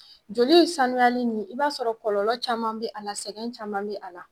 Joli in sanuyali nin i b'a sɔrɔ kɔlɔlɔ caman bɛ a la, sɛgɛn caman bɛ a la.